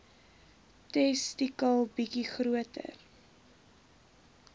testikel bietjie groter